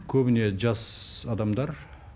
көбіне жас адамдар